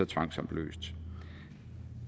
tvangsopløst